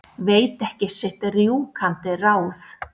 Veit ekki sitt rjúkandi ráð.